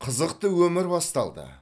қызықты өмір басталды